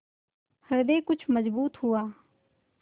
हृदय कुछ मजबूत हुआ